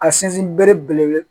A sinsin bere belebele